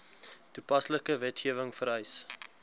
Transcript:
toepaslike wetgewing vereis